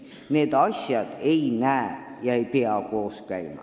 Need asjad ei pea koos käima.